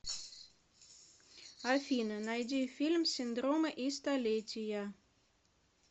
афина найди фильм синдромы и столетия